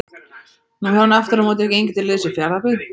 Nú hefur hann aftur á móti gengið til liðs við Fjarðabyggð.